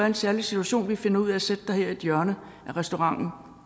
en særlig situation vi finder ud af at sætte dig her i et hjørne af restauranten